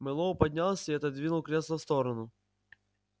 мэллоу поднялся и отодвинул кресло в сторону